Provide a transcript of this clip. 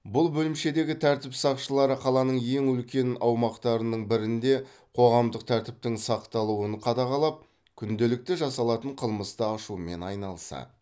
бұл бөлімшедегі тәртіп сақшылары қаланың ең үлкен аумақтарының бірінде қоғамдық тәртіптің сақталуын қадағалап күнделікті жасалатын қылмысты ашумен айналысады